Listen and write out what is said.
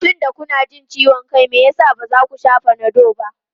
Tunda kuna jin ciwon kai, me yasa ba za ku sha Panadol ba?